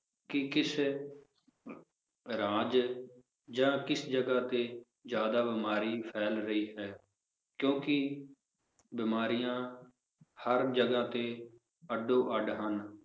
ਕਿ ਕਿਸ ਰਾਜ ਜਾਂ ਕਿਸ ਜਗਾਹ ਤੇ ਜ਼ਿਆਦਾ ਬਿਮਾਰੀ ਫੈਲ ਰਹੀ ਹੈ ਕਿਉਂਕਿ ਬਿਮਾਰੀਆਂ ਹਰ ਜਗਾਹ ਤੇ ਅੱਡੋ-ਅੱਡ ਹਨ